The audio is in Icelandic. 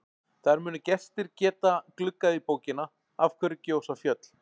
Þar munu gestir geta gluggað í bókina Af hverju gjósa fjöll?